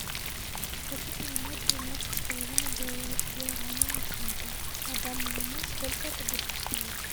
хочу поменять тринадцать с половиной долларов гуарани на фунты на данный момент сколько это будет стоить